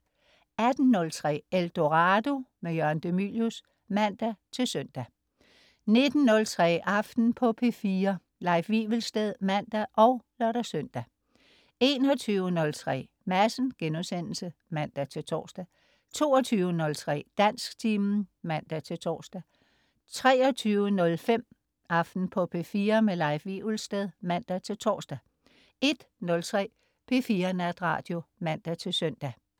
18.03 Eldorado. Jørgen de Mylius (man-søn) 19.03 Aften på P4. Leif Wivelsted (man og lør-søn) 21.03 Madsen* (man-tors) 22.03 Dansktimen (man-tors) 23.05 Aften på P4. Leif Wivelsted (man-tors) 01.03 P4 Natradio (man-søn)